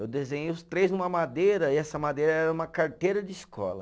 Eu desenhei os três numa madeira, e essa madeira era uma carteira de escola.